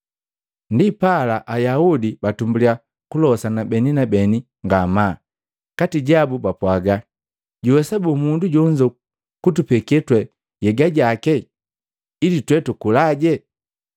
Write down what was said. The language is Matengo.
Ndipala Ayaudi patumbuliya kulosana beni na beni ngamaa kati jabu bakapwaga, “Juwesa boo mundu jonzo kutupeke twe nhyega jaki ili twe tukulaje?”